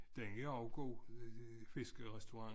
Den er også god fiskerestaurent